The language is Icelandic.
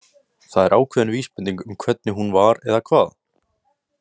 Það er ákveðin vísbending um hvernig hún var, eða hvað?